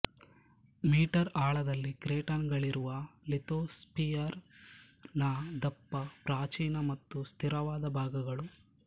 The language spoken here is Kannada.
ಮೀ ಆಳದಲ್ಲಿ ಕ್ರೇಟನ್ ಗಳಿರುವ ಲಿಥೋಸ್ಫಿಯರ್ ನ ದಪ್ಪ ಪ್ರಾಚೀನ ಮತ್ತು ಸ್ಥಿರವಾದ ಭಾಗಗಳು